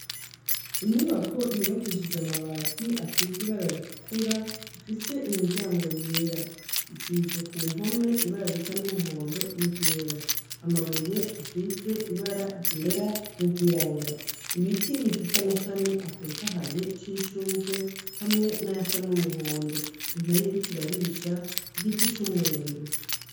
Inyubako yubakishije amabati asize ibara ritukura ifise imiryango yera. Isize ku mpome ibara risa n'umuhondo n'iryera amabuye asize ibara ryera n'igirabura ibiti bifise amashami atotahaye c'ishugwe hamwe n'ayasa n'umuhondo, impene iriko irarisha, igiti c'umwembe.